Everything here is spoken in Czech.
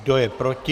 Kdo je proti?